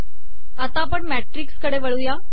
आता आपण मॅिटकस कडे वळूयात